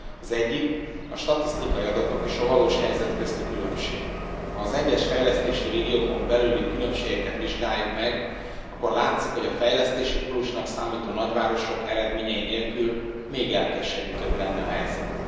Az egyik a statisztikai adatok és a valós helyzet közötti különbség ha az egyes fejlesztési régiókon belüli különbségeket vizsgáljuk meg, akkor látszik, hogy a fejlesztési pólusnak számító nagyvárosok eredményei nélkül még elkeserítőbb lenne a helyzet.